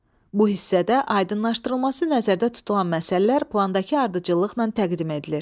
Bu hissədə aydınlaşdırılması nəzərdə tutulan məsələlər plandakı ardıcıllıqla təqdim edilir.